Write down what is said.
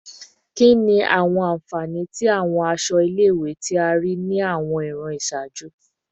Kini awọn anfani ti awọn aṣọ ile-iwe ti a rii ni awọn iran iṣaaju?